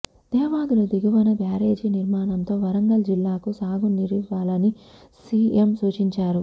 దేవాదుల దిగువన బ్యారేజీ నిర్మాణంతో వరంగల్ జిల్లాకు సాగు నీరివ్వాలని సిఎం సూచించారు